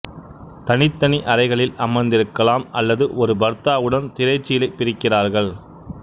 தனித்தனி அறைகளில் அமர்ந்திருக்கலாம் அல்லது ஒரு பர்தாவுடன் திரைச்சீலை பிரிக்கிறார்கள்